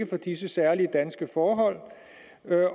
disse særlige danske forhold